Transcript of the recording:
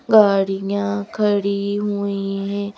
गाड़ियां खड़ी हुई हैं।